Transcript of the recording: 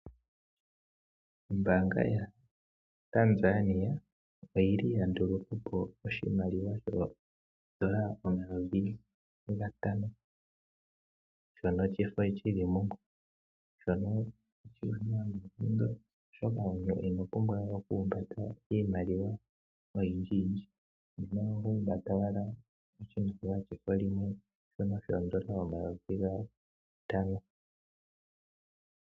Ombaanga yaTanzania oya nduluka po oshimaliwa ooshilinga omayovi gatano ndhono dhefo li li mumwe. Oshiwanawa noonkondo, oshoka omuntu ino pumbwa we okuhumbata iimaliwa yomafo oyindjiyindji, oho humbata owala shono shefo limwe shooshinlinga omayovi gatano.